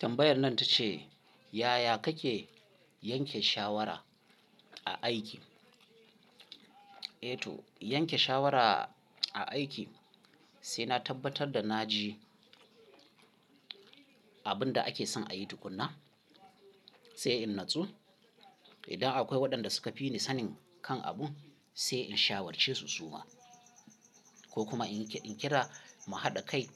Tambayar nan ta ce, yaya kake yanke shawara a aiki? Eh to, yanke shawara a aiki sai na tabbatar da na ji abin da ake son a yi tukuna, sai in natsu. Idan akwai waɗanda suka fi ni sanin kan abu sai in shawarce su suma, ko kuma in kira mu haɗa kai